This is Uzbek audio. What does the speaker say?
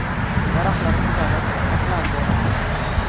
Daraxtlar butalib, oqlandi.